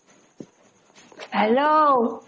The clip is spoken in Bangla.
hello